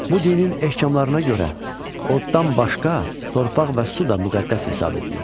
Bu dinin ehkamlarına görə oddan başqa torpaq və su da müqəddəs hesab edilir.